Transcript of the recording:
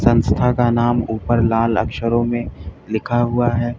संस्था का नाम ऊपर लाल अक्षरों में लिखा हुआ है।